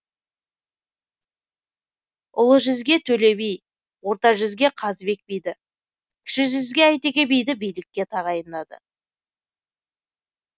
ұлы жүзге төле би орта жүзге қазыбек биді кіші жүзге әйтеке биді билікке тағайындады